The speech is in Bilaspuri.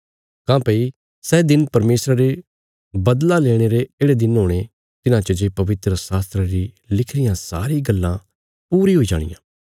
काँह्भई सै दिन परमेशरा रे बदला लेणे रे येढ़े दिन हुणे तिन्हां च जे पवित्रशास्त्रा री लिखी रियां सारी गल्लां पूरी हुई जाणियां